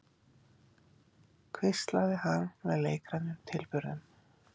hvíslaði hann með leikrænum tilburðum.